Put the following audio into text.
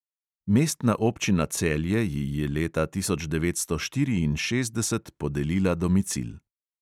Mestna občina celje ji je leta tisoč devetsto štiriinšestdeset podelila domicil.